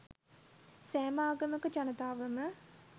සෑම ආගමක ජනතාවම